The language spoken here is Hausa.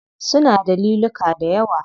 Suna da liluka dayawa.